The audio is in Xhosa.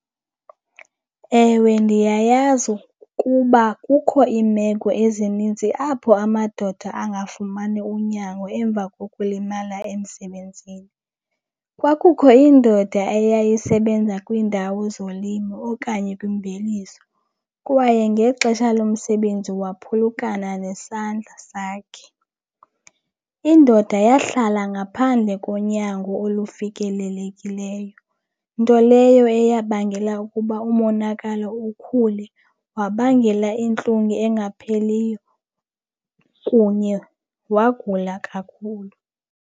Ewe, ndiyayazi ukuba kukho iimeko ezininzi apho amadoda angafumani unyango emva kokulimala emsebenzini. Kwakukho indoda eyayisebenza kwiindawo zolimo okanye kwimveliso kwaye ngexesha lomsebenzi waphulukana nesandla sakhe. Indoda yahlala ngaphandle konyango olufikelelekileyo, nto leyo eyabangela ukuba umonakalo ukhule, wabangela intlungu engapheliyo kunye wagula kakhulu.